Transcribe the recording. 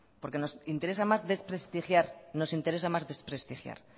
porque nos interesa más desprestigiar